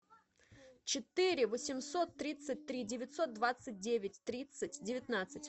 четыре восемьсот тридцать три девятьсот двадцать девять тридцать девятнадцать